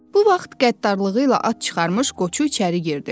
Bu vaxt qəddarlığı ilə ad çıxarmış Qoçu içəri girdi.